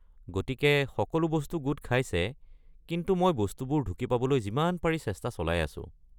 গতিকে সকলো বস্তু গোট খাইছে, কিন্তু মই বস্তুবোৰ ঢুকি পাবলৈ যিমান পাৰি চেষ্টা চলাই আছোঁ।